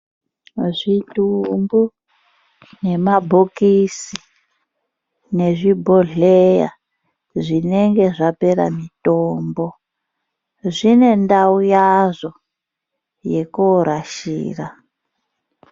Zvitumbu nemabhokisi ,nezvibhodhleya zvinenge zvapera mitombo ,zvine ndau yazvo yekoorashira.